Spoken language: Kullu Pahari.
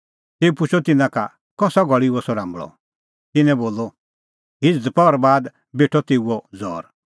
तेऊ पुछ़अ तिन्नां का कसा घल़ी हुअ सह राम्बल़अ तिन्नैं बोलअ हिझ़ दपहरा बाद बेठअ तेऊओ ज़ौर